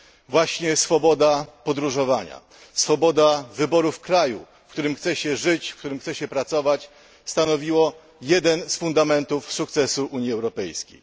Właśnie swoboda podróżowania, swoboda wyboru kraju, w którym chce się żyć, w którym chce się pracować, stanowiło jeden z fundamentów sukcesu Unii Europejskiej.